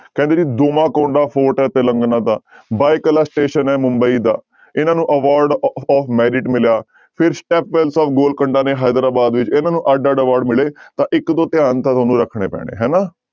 ਕਹਿੰਦੇ ਜੀ ਡੋਮਾਕੋਂਡਾ fort ਹੈ ਤਿਲੰਗਨਾ ਦਾ ਬਾਏਕੁਲਾ station ਹੈ ਮੁੰਬਈ ਦਾ ਇਹਨਾਂ ਨੂੰ award of ਮਿਲਿਆ ਫਿਰ ਸਟੈਪਵੈਲਸ of ਗੋਲ ਕੰਡਾ ਨੇ ਹੈਦਰਾਬਾਦ ਵਿੱਚ ਇਹਨਾਂ ਨੂੰ ਅੱਢ ਅੱਢ award ਮਿਲੇ ਤਾਂ ਇੱਕ ਦੋ ਧਿਆਨ ਤਾਂ ਤੁਹਾਨੂੰ ਰੱਖਣੇ ਪੈਣੇ ਹਨਾ।